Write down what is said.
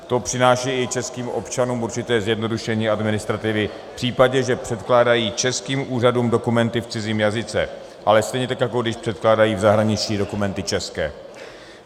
To přináší i českým občanům určité zjednodušení administrativy v případě, že předkládají českým úřadům dokumenty v cizím jazyce, ale stejně tak jako když předkládají v zahraničí dokumenty české.